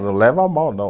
Não leva a mal, não.